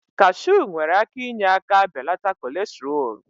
Cashu nwere ike inye aka belata kolestrool.